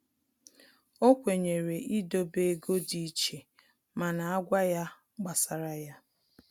O kwenyere idobe ego dị iche mana agwa ya gbasara ya